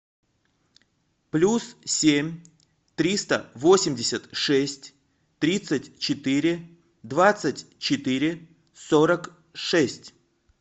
плюс семь триста восемьдесят шесть тридцать четыре двадцать четыре сорок шесть